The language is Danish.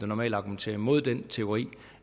normalt argumenterer imod den teori